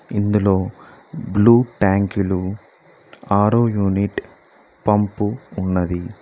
ఇందులో బ్లూ ట్యాంకులు ఆరో యూనిట్ పంపు ఉన్నది.